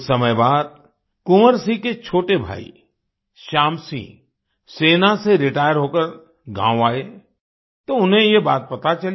कुछ समय बाद कुंवर सिंह के छोटे भाई श्याम सिंह सेना से रिटायर होकर गाँव आए तो उन्हें ये बात पता चली